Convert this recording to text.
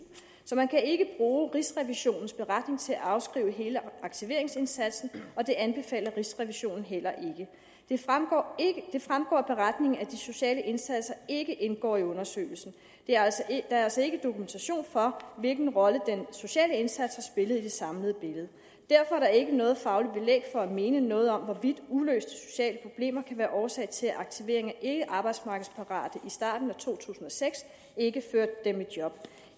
så man kan ikke bruge rigsrevisionens beretning til at afskrive hele aktiveringsindsatsen og det anbefaler rigsrevisionen heller ikke det fremgår af beretningen at de sociale indsatser ikke indgår i undersøgelsen der er altså ikke dokumentation for hvilken rolle den sociale indsats har spillet i det samlede billede derfor er der ikke noget fagligt belæg for at mene noget om hvorvidt uløste sociale problemer kan være årsag til at aktivering af ikkearbejdsmarkedsparate i starten af to tusind og seks ikke førte dem i job